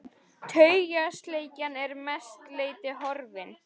Taugaslekjan er að mestu leyti horfin.